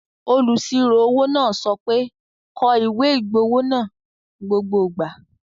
Olùsirò-owó náà sọ pé, 'kọ ìwé-ìgbowó náà gbogbo ìgbà